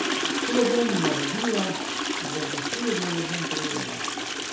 To bom naredila, za besedo ju bom prijela.